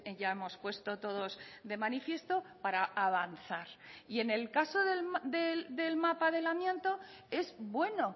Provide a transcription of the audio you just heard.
ya hemos puesto todos de manifiesto para avanzar y en el caso del mapa del amianto es bueno